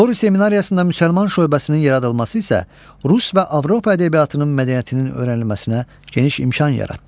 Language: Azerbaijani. Qori seminariyasında müsəlman şöbəsinin yaradılması isə Rus və Avropa ədəbiyyatının mədəniyyətinin öyrənilməsinə geniş imkan yaratdı.